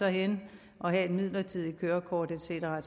hen og have et midlertidigt kørekort et cetera